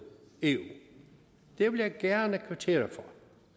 eu det vil jeg gerne kvittere for